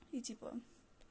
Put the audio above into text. и типа